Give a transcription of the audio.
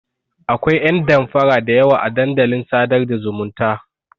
Akwai ƴan damfara da yawa a dandalin sadar da zumunta.